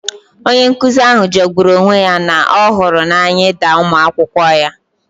Onye nkuzi ahụ jọgburu onwe ya na ọ hụrụ n'anya ịda ụmụ akwụkwọ ya